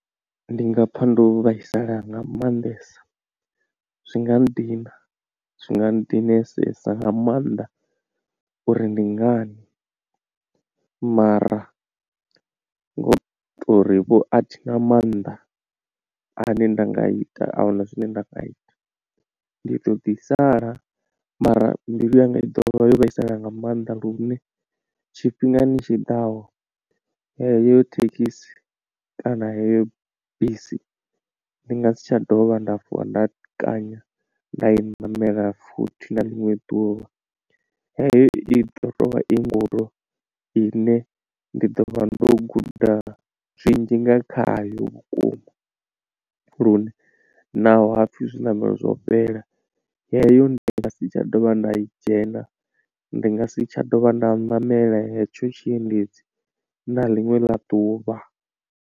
Ndi nga pfa ndo vhaisala nga maanḓesa zwi nga nndina zwi nga nndinesesa nga maanḓa uri ndi ngani, mara ngo tori vho athina maanḓa ane nda nga ita ahuna zwine nda nga ita. Ndi ḓo ḓi sala mara mbilu yanga i ḓovha yo vhaisala nga maanḓa lune tshifhingani tshiḓaho heyo thekhisi kana heyo bisi ndi nga si tsha dovha nda vuwa nda kanya nda i ṋamela futhi na ḽiṅwe ḓuvha, heyo i ḓo tou vha i ndudo i ne ndi ḓo vha ndo guda zwinzhi nga khayo vhukuma. Lune naho hapfhi zwiṋamelo zwo fhela yeyo ndi nga si tsha dovha nda I dzhena ndi nga si tsha dovha nda ṋamela hetsho tshiendedzi na ḽiṅwe ḽa ḓuvha.